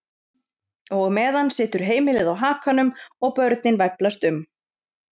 Og á meðan situr heimilið á hakanum og börnin væflast um.